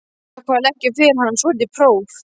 Hann ákvað að leggja fyrir hana svolítið próf.